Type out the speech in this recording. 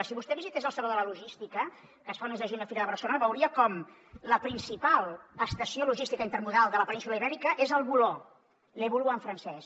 si vostè visités el saló de la logística que es fa el mes de juny a fira de barcelona veuria com la principal estació logística intermodal de la península ibèrica és al voló le boulou en francès